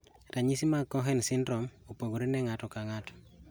Ranyisi mag Cohen syndrome opogore ne ng'ato ka ng'ato